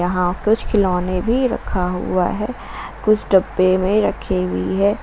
यहां कुछ खिलौने भी रखा हुआ है कुछ डब्बे में रखी हुई है।